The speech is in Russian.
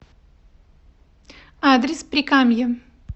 адрес прикамье